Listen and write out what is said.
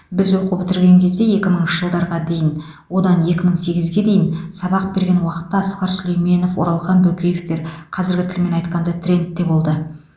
біз оқу бітірген кезде екі мыңыншы жылдарға дейін одан екі мың сегізге дейін сабақ берген уақытта асқар сүлейменов оралхан бөкеевтер қазіргі тілмен айтқанда трендте болды